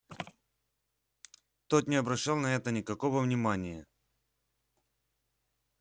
тот не обращал на это никакого внимания